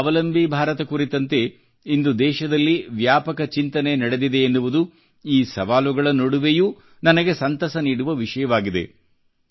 ಸ್ವಾವಲಂಬಿ ಭಾರತ ಕುರಿತಂತೆ ಇಂದು ದೇಶದಲ್ಲಿ ವ್ಯಾಪಕ ಚಿಂತನೆ ನಡೆದಿದೆ ಎನ್ನುವುದು ಈ ಸವಾಲುಗಳ ನಡುವೆಯೂ ನನಗೆ ಸಂತಸ ನೀಡುವ ವಿಷಯವಾಗಿದೆ